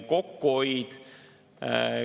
Kokkuhoid …